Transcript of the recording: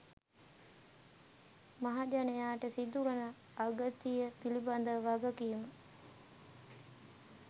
මහජනයාට සිදුවන අගතිය පිළිබද වගකීම